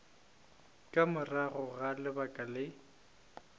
ka morago ga lebaka le